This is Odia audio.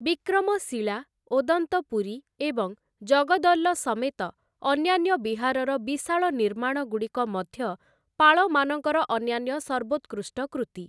ବିକ୍ରମଶିଲା, ଓଦନ୍ତପୁରୀ, ଏବଂ ଜଗଦ୍ଦଲ ସମେତ ଅନ୍ୟାନ୍ୟ ବିହାରର ବିଶାଳ ନିର୍ମାଣଗୁଡ଼ିକ ମଧ୍ୟ ପାଳମାନଙ୍କର ଅନ୍ୟାନ୍ୟ ସର୍ବୋତ୍କୃଷ୍ଟ କୃତି ।